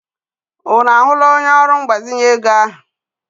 Unu ahụla onye ọrụ mgbazinye ego ahụ?